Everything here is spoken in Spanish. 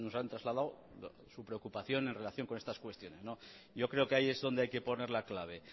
han trasladado su preocupación en relación con estas cuestiones yo creo que ahí es donde hay que poner la clave